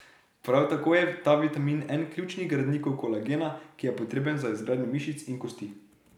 Prav tako je ta vitamin en ključnih gradnikov kolagena, ki je potreben za izgradnjo mišic in kosti.